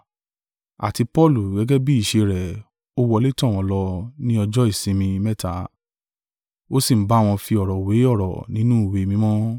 Àti Paulu, gẹ́gẹ́ bí ìṣe rẹ̀, ó wọlé tọ̀ wọ́n lọ, ni ọjọ́ ìsinmi mẹ́ta ó sì ń bá wọn fi ọ̀rọ̀ wé ọ̀rọ̀ nínú ìwé mímọ́.